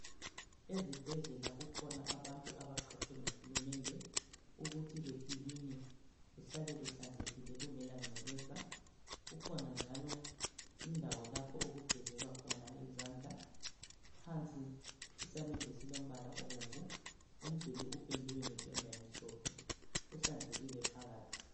Ezibhedlela kukhona abantu abaqhatshwe nguhulumende ukuthi bekiline kuhlale kuhlanzekile kungela ngcekeza kukhona njalo indawo lapho okugezelwa khona izandla phansi isamende esilombala obomvu umduli upendiwe ngependa emhlophe kuhlanzekile phakathi.